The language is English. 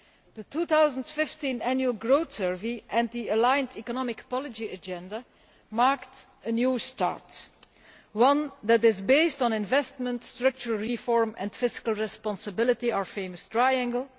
The 2015 Annual Growth Survey and the aligned economic policy agenda marked a new start, one that is based on investment, structural reform and fiscal responsibility, our famous triangle.